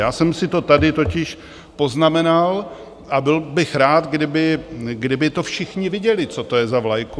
Já jsem si to tady totiž poznamenal a byl bych rád, kdyby to všichni viděli, co to je za vlajku.